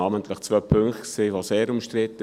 Namentlich waren zwei Punkte sehr umstritten: